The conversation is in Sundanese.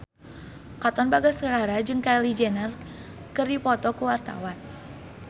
Katon Bagaskara jeung Kylie Jenner keur dipoto ku wartawan